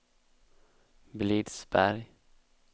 Blidsberg